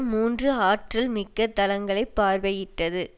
மூன்று ஆற்றல் மிக்க தளங்களை பார்வையிட்டது